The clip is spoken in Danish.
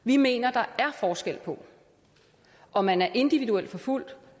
vi mener at der er forskel på om man er individuelt forfulgt